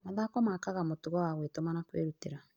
Mathako makaga mũtugo wa gwĩtũma na kwĩrutĩra.